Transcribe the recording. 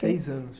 anos?